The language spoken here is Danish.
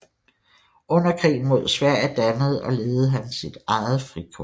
Under krigen mod Sverige dannede og ledede han et eget frikorps